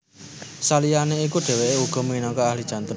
Saliyané iku dhèwèké uga minangka ahli jantung